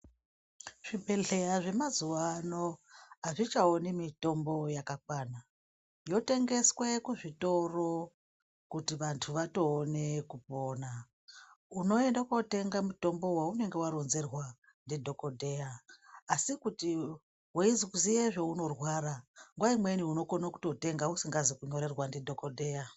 Zvibhedhleya zvemazuwano azvichaoni mitombo yakakwana yotengeswe kuzvitoro Kuti vantu vatoona kupona . Unoenda kootenga mutombo waunenge wanyorerwa ndidokhotheya, asi kuti weiziya zveunorwara nguwa imweni unokona kutotenga usingazi kunyorerwa ndidhokotheya .